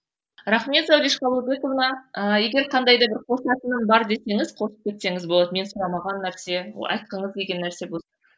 рахмет зауреш қабылбековна ыыы егер қандай да бір қосатыным бар десеңіз қортып кетсеңіз болады мен сұрамаған нәрсе айтқыңыз келген нәрсе